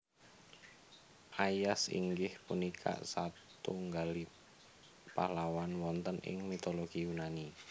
Aias inggih punika satunggaling pahlawan wonten ing mitologi Yunani